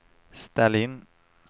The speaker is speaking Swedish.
ställ in